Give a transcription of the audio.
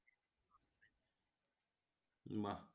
বা